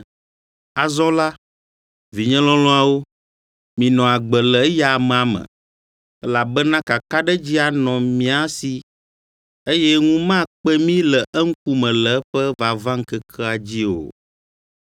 Azɔ la, vinye lɔlɔ̃awo, minɔ agbe le eya amea me, elabena kakaɖedzi anɔ mía si, eye ŋu makpe mí le eŋkume le eƒe vavaŋkekea dzi o.